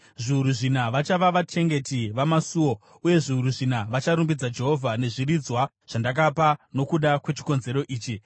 Zviuru zvina vachava vachengeti vamasuo uye zviuru zvina vacharumbidza Jehovha nezviridzwa zvandakapa nokuda kwechikonzero ichi.”